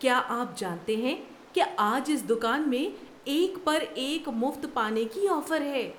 کیا آپ جانتے ہیں کہ آج اس دکان میں ایک پر ایک مفت پانے کی آفر ہے؟